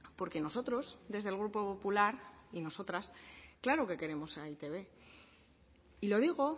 porque nosotros y nosotras desde el grupo popular claro que queremos a e i te be y lo digo